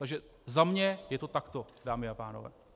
Takže za mě je to takto, dámy a pánové.